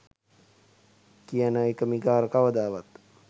කියන එක මිගාර කවදාවත්